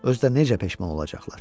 Özü də necə peşman olacaqlar.